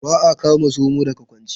Ba a kama zomo daga kwance.